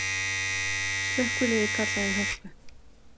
Slökkviliðið kallað í Hörpu